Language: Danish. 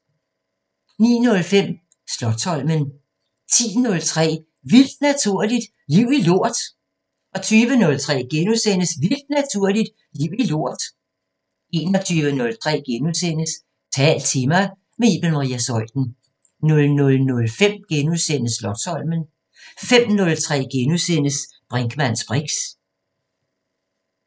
09:05: Slotsholmen 10:03: Vildt Naturligt: Liv i lort 20:03: Vildt Naturligt: Liv i lort * 21:03: Tal til mig – med Iben Maria Zeuthen * 00:05: Slotsholmen * 05:03: Brinkmanns briks *